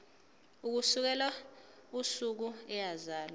ukusukela usuku eyazalwa